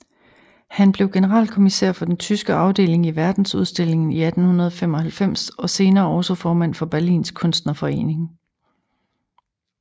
Han blev generalkommisær for den tyske afdeling i verdensudstillingen i 1895 og senere også formand for Berlins kunstnerforening